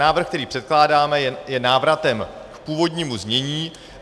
Návrh, který předkládáme, je návratem k původnímu znění.